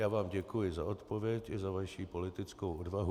Já vám děkuji za odpověď i za vaši politickou odvahu.